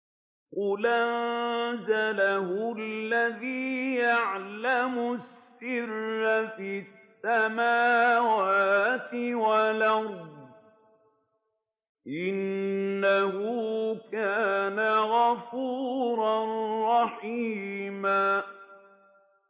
قُلْ أَنزَلَهُ الَّذِي يَعْلَمُ السِّرَّ فِي السَّمَاوَاتِ وَالْأَرْضِ ۚ إِنَّهُ كَانَ غَفُورًا رَّحِيمًا